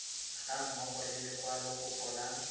ga mmogo le lekwalokopo la